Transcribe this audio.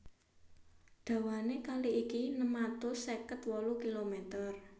Dawané kali iki enem atus seket wolu kilomèter